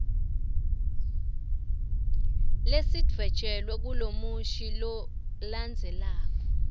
lesidvwetjelwe kulomusho lolandzelako